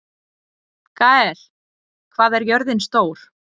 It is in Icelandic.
Gael, hvað er jörðin stór?